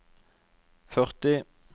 førti